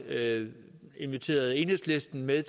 inviteret enhedslisten med